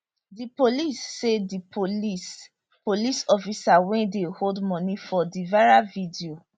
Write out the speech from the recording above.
di police say di police police officer wey dey hold money for di viral video